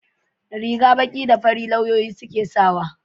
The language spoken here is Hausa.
riga baki da fari lauyoyi ke sawa